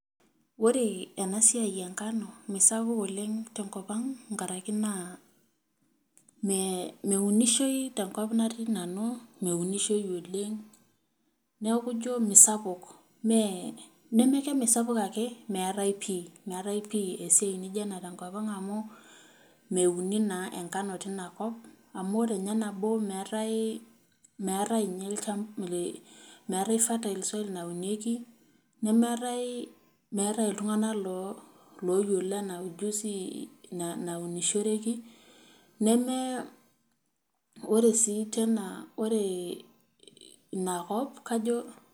Ore ena siai enkano miisapuk oleng' tenkop ang' nkaraki naa mee meunishoi tenkop natii nanu, meunishoi oleng', neeku ijo meesapuk mee neme ke misapuk ake, meetai pii meetai pii esiai nijo ena tenkop ang' amu meuni naa enkano tina kop amu ore nye nabo meetai meetai nye ilcha meetai fertile soil naunieki, nemeetai meetai iltung'anak lo looyiolo ena ujuzi na naunishoreki , nemee, ore sii tena ee ina kop kajo